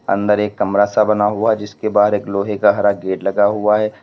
अंदर एक कमरा सा बना हुआ जिसके बाहर एक लोहे का हरा गेट लगा हुआ है।